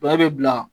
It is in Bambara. Bɛɛ bɛ bila